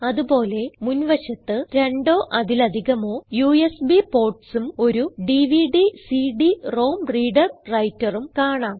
അത് പോലെ മുൻവശത്ത് രണ്ടോ അതിൽ അധികമോ യുഎസ്ബി portsഉം ഒരു dvdcd റോം reader വ്രൈട്ടർ ഉം കാണാം